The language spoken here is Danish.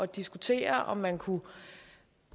diskutere om man kunne